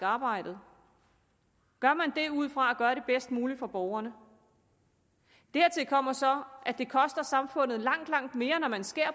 arbejdet gør man det ud fra at gøre det bedst muligt for borgerne dertil kommer så at det koster samfundet langt langt mere når man skærer